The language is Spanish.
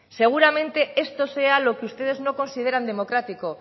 seguramente esto sea lo que ustedes no consideran democrático